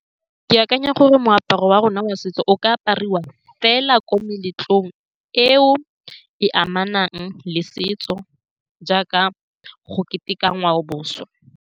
Ke akanya gore moaparo wa rona wa setso o ka apariwa fela ko meletlong e e amanang le setso, jaaka go keteka ngwao boswa.